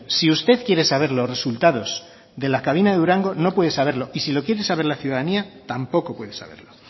si usted quiere saber los resultados de la cabina de durango no puede saberlo y si lo quieres saber la ciudadanía tampoco puede saberlo